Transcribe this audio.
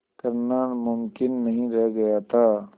करना मुमकिन नहीं रह गया था